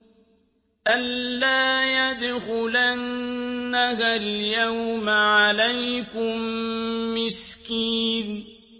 أَن لَّا يَدْخُلَنَّهَا الْيَوْمَ عَلَيْكُم مِّسْكِينٌ